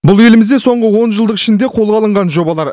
бұл елімізде соңғы онжылдық ішінде қолға алынған жобалар